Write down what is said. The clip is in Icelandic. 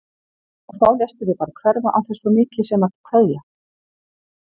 Og þá léstu þig bara hverfa án þess svo mikið sem að kveðja!